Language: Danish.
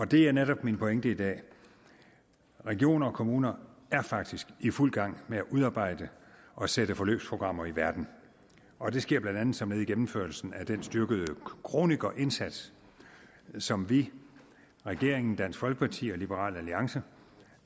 det er netop min pointe i dag regioner og kommuner er faktisk i fuld gang med at udarbejde og sætte forløbsprogrammer i verden og det sker blandt andet som led i gennemførelsen af den styrkede kronikerindsats som vi regeringen dansk folkeparti og liberal alliance